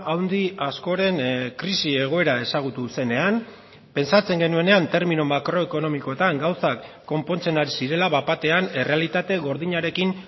handi askoren krisi egoera ezagutu zenean pentsatzen genuenean termino makroekonomikoetan gauzak konpontzen ari zirela bat batean errealitate gordinarekin